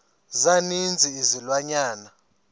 za ninzi izilwanyana